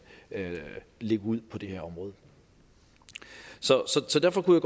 lægge ud på det her område så derfor kunne